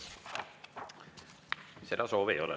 Seda soovi ei ole.